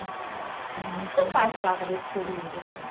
Eh, o que seu pai falava nesse período assim?